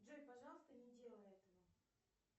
джой пожалуйста не делай этого